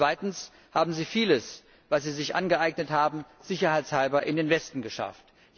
Zweitens haben sie vieles, was sie sich angeeignet haben, sicherheitshalber in den Westen geschafft.